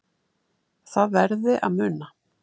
Það verði að muna